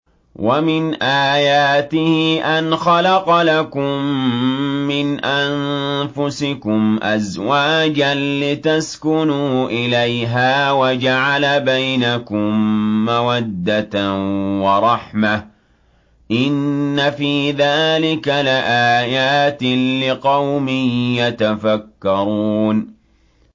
وَمِنْ آيَاتِهِ أَنْ خَلَقَ لَكُم مِّنْ أَنفُسِكُمْ أَزْوَاجًا لِّتَسْكُنُوا إِلَيْهَا وَجَعَلَ بَيْنَكُم مَّوَدَّةً وَرَحْمَةً ۚ إِنَّ فِي ذَٰلِكَ لَآيَاتٍ لِّقَوْمٍ يَتَفَكَّرُونَ